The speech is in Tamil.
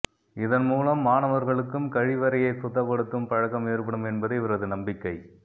இதன்மூலம் மாணவர்களுக்கும் கழிவறையை சுத்தப்படுத்தும் பழக்கம் ஏற்படும் என்பதே இவரது நம்பிக்கை